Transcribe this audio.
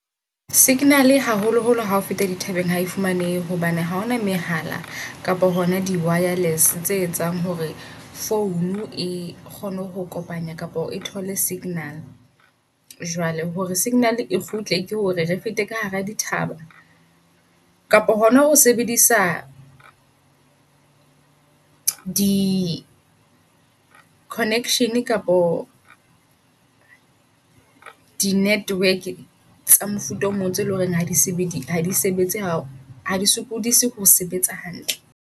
Signal-e haholo holo hao feta dithabeng hae fumanehe. Hobane ha hona mehala kapo hona di -wireless tse etsang hore phone e kgone ho kopanya kapa o thole -signal. Jwale hore -signal e kgutle ke hore re fete ka hara dithaba, kapo hona ho sebedisa di -connection kapo di -network tsa mofuta o mong. Tseo eleng hore ha di sebedise hadi sebetse hao ha di sokodise ho sebetsa hantle.